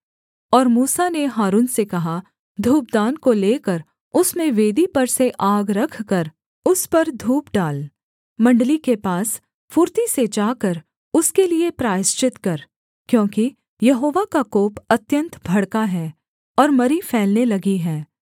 और मूसा ने हारून से कहा धूपदान को लेकर उसमें वेदी पर से आग रखकर उस पर धूप डाल मण्डली के पास फुर्ती से जाकर उसके लिये प्रायश्चित कर क्योंकि यहोवा का कोप अत्यन्त भड़का है और मरी फैलने लगी है